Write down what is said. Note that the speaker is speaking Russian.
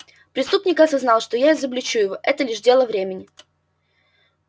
преступник осознал что я изобличу его это лишь дело времени